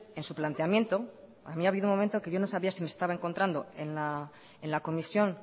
en su planteamiento a mí ha habido un momento que yo no sabia si me estaba encontrando en la comisión